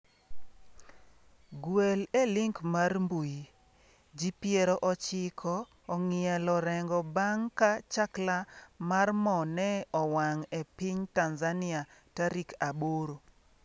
Gwel e link mar mbui: Ji piero ochiko ong'ielo rengo bang' ka chakla mar mo ne owang' e piny Tanzania tarik aboro.